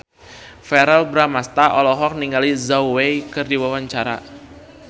Verrell Bramastra olohok ningali Zhao Wei keur diwawancara